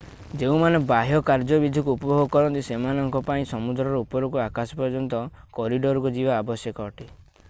ଯେଉଁମାନେ ବାହ୍ୟ କାର୍ଯ୍ୟବିଧିକୁ ଉପଭୋଗ କରନ୍ତି ସେମାନଙ୍କ ପାଇଁ ସମୁଦ୍ରରୁ ଉପରକୁ ଆକାଶ ପର୍ଯ୍ୟନ୍ତ କରିଡରକୁ ଯିବା ଆବଶ୍ୟକ ଅଟେ